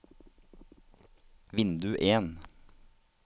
vindu en